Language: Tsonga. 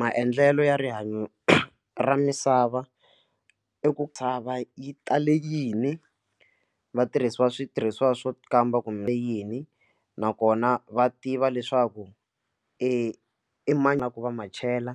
Maendlelo ya rihanyo ra misava i ku chava yi tale yini vatirhisiwa switirhisiwa swo kamba kumbe yini nakona va tiva leswaku i ma va ma chela